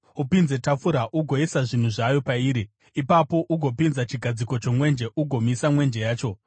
Upinze tafura ugoisa zvinhu zvayo pairi. Ipapo ugopinza chigadziko chomwenje ugomisa mwenje yacho.